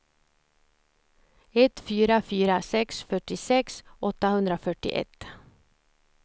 ett fyra fyra sex fyrtiosex åttahundrafyrtioett